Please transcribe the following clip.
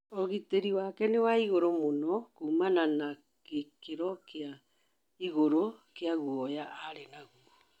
Ũgĩtĩrĩ wake nĩ wa ĩgũrũ mũno, kũumana na gĩkĩro kĩa ĩgũrũ kĩa gũoya arĩ nagũo